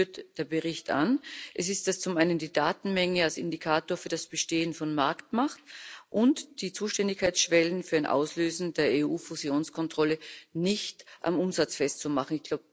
Und solche führt der Bericht an Es ist zum einen die Datenmenge als Indikator für das Bestehen von Marktmacht und der Vorschlag, Zuständigkeitsschwellen für ein Auslösen der EU Fusionskontrolle nicht am Umsatz festzumachen.